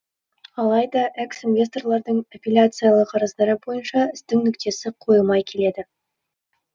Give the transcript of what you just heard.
алайда экс инвесторлардың аппиляциялық арыздары бойынша істің нүктесі қойылмай келеді